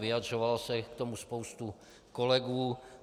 Vyjadřovalo se k tomu spoustu kolegů.